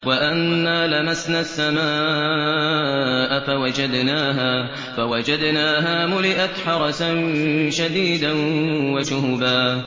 وَأَنَّا لَمَسْنَا السَّمَاءَ فَوَجَدْنَاهَا مُلِئَتْ حَرَسًا شَدِيدًا وَشُهُبًا